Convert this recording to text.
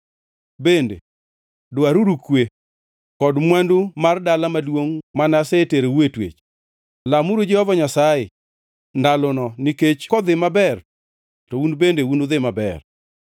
Bende, dwaruru kwe kod mwandu mar dala maduongʼ ma aseterou e twech. Lamuru Jehova Nyasaye, ndalono nikech kodhi maber to un bende unudhi maber.”